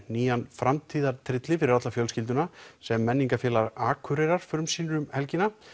nýjan fyrir alla fjölskylduna sem Akureyrar frumsýnir um helgina